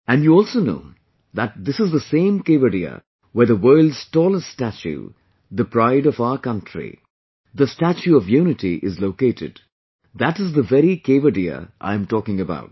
And you also know that this is the same Kevadiya where the world's tallest statue, the pride of our country, the Statue of Unity is located, that is the very Kevadiya I am talking about